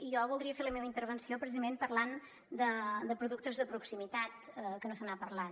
i jo voldria fer la meva intervenció precisament parlant de productes de proximitat que no se n’ha parlat